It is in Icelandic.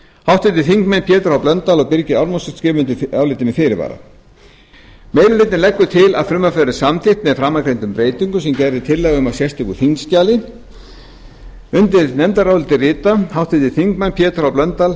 háttvirtur þingmaður pétur h blöndal og birgir ármannsson skrifa undir álit þetta með fyrirvara meiri hlutinn leggur til að frumvarpið verði samþykkt með framangreindum breytingum sem gerð er tillaga um á sérstöku þingskjali undir nefndarálitið rita háttvirtir þingmenn pétur h blöndal